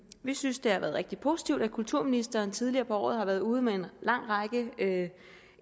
vi synes det har været rigtig positivt at kulturministeren tidligere på året har været ude med en lang række